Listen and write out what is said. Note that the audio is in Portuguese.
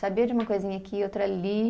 Sabia de uma coisinha aqui, outra ali.